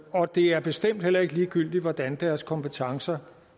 og det er bestemt heller ikke ligegyldigt hvordan deres kompetencer